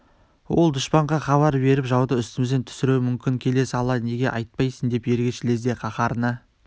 ол дұшпанға хабар беріп жауды үстімізден түсіруі мүмкін келе сала неге айтпайсың деп ергеш лезде қаһарына